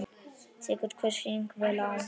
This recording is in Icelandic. Tekur hver sýning vel á?